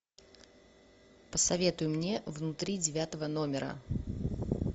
посоветуй мне внутри девятого номера